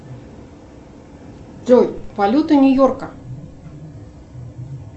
джой валюта нью йорка